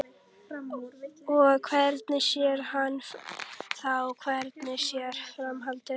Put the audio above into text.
Og hvernig sé hann þá fyrir sér framhaldið?